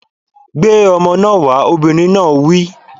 Gbé ọmọ náà wá! Obìnrin náà wí